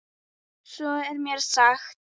Svo er mér sagt.